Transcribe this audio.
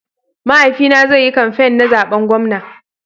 Mahaifi na zai yi kamfain na zaɓen gwamna.